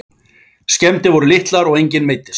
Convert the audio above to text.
Skemmdir voru litlar og enginn meiddist